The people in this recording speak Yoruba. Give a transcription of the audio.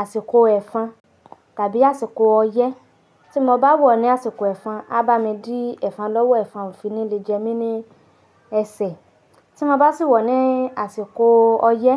àsìkò ẹ̀fọn tàbí àsìkò ọyẹ́. Tí mo bá wọ̀ ní àsìkò ẹ̀fọn, a bá mi dí ẹ̀fọn lọ́wọ́ ẹ̀fọn òfin ní lè jẹ mí ní ẹsẹ̀. Tí mo bá sì wọ̀ ní àsìkò ọyẹ́,